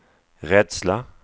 rädsla